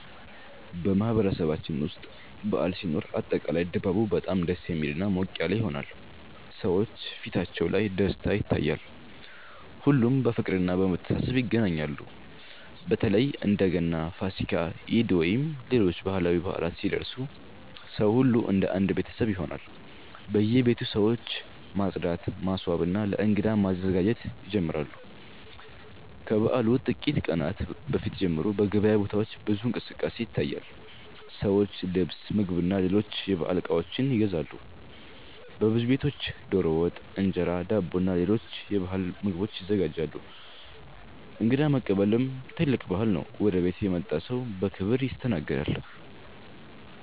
በማህበረሰባችን ውስጥ በዓል ሲኖር አጠቃላይ ድባቡ በጣም ደስ የሚልና ሞቅ ያለ ይሆናል። ሰዎች ፊታቸው ላይ ደስታ ይታያል፣ ሁሉም በፍቅርና በመተሳሰብ ይገናኛሉ። በተለይ እንደ ገና፣ ፋሲካ፣ ኢድ ወይም ሌሎች ባህላዊ በዓላት ሲደርሱ ሰው ሁሉ እንደ አንድ ቤተሰብ ይሆናል። በየቤቱ ሰዎች ማጽዳት፣ ማስዋብና ለእንግዳ መዘጋጀት ይጀምራሉ። ከበዓሉ ጥቂት ቀናት በፊት ጀምሮ በገበያ ቦታዎች ብዙ እንቅስቃሴ ይታያል፤ ሰዎች ልብስ፣ ምግብና ሌሎች የበዓል እቃዎች ይገዛሉ። በብዙ ቤቶች ዶሮ ወጥ፣ እንጀራ፣ ዳቦና ሌሎች የባህል ምግቦች ይዘጋጃሉ። እንግዳ መቀበልም ትልቅ ባህል ነው፤ ወደ ቤት የመጣ ሰው በክብር ይስተናገዳል።